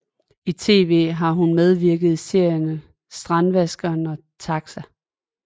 I tv har hun medvirket i serierne Strandvaskeren og TAXA